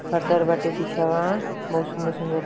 Shutter बाटे पीछेवा। बहुत सुन्दर-सुन्दर --